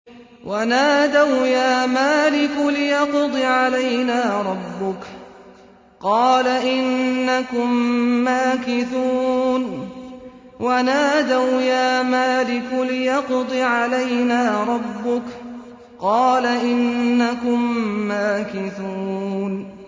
وَنَادَوْا يَا مَالِكُ لِيَقْضِ عَلَيْنَا رَبُّكَ ۖ قَالَ إِنَّكُم مَّاكِثُونَ